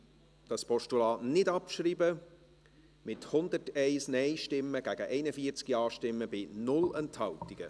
Sie haben das Postulat nicht abgeschrieben, mit 101 Nein- gegen 41 Ja-Stimmen bei 0 Enthaltungen.